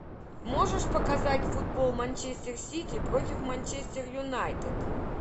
можешь показать футбол манчестер сити против манчестер юнайтед